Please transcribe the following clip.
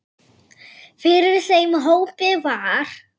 Fyrir þeim hópi var